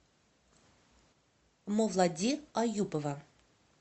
мовлади аюпова